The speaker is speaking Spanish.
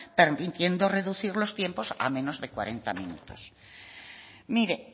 permitiendo reducir los tiempos a menos de cuarenta minutos mire